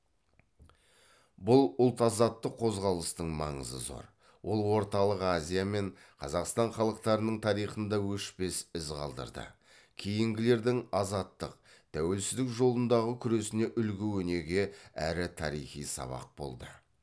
бұл ұлт азаттық қозғалыстың маңызы зор ол орталық азия мен қазақстан халықтарының тарихында өшпес із қалдырды кейінгілердің азаттық тәуелсіздік жолындағы күресіне үлгі өнеге әрі тарихи сабақ болды